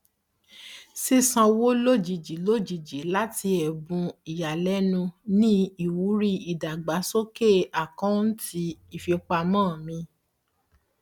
ṣíṣàn owó ojijì lojijì láti ẹbùn ìyàlẹnu ní ìwúrí ìdàgbàsókè akọunti ìfipamọ mi